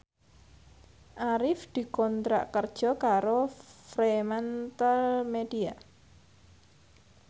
Arif dikontrak kerja karo Fremantlemedia